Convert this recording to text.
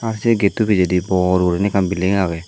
ah se getto pijedi bor gurinei ekkan belling agey.